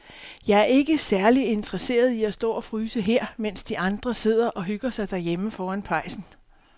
Jeg er ikke særlig interesseret i at stå og fryse her, mens de andre sidder og hygger sig derhjemme foran pejsen.